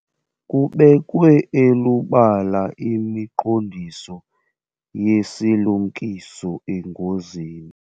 Kubekwe elubala imiqondiso yesilumkiso engozini.